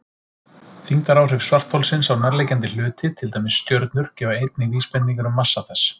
Þyngdaráhrif svartholsins á nærliggjandi hluti, til dæmis stjörnur, gefa einnig vísbendingar um massa þess.